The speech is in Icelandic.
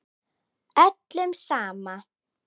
Öllum sama.